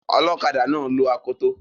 Ọlọkadà náà lo akoto